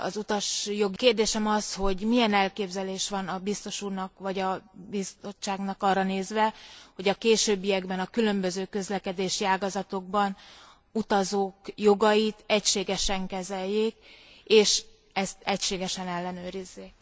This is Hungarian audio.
A kérdésem az, hogy milyen elképzelése van a Biztos úrnak vagy a Bizottságnak arra nézve, hogy a későbbiekben a különböző közlekedési ágazatokban utazók jogait egységesen kezeljék és ezt egységesen ellenőrizzék?